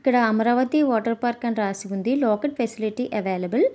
ఇక్కడ Amaravati water park అని రాసి ఉంది లోకల్ ఫెసిలిటీ అవైలబుల్ .